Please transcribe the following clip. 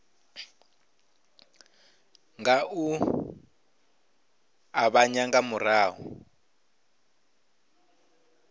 nga u ṱavhanya nga murahu